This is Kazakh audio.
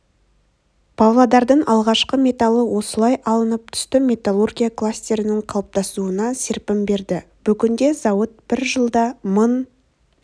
павлодардың алғашқы металы осылай алынып түсті металлургия кластерінің қалыптасуына серпін берді бүгінде зауыт бір жылда мың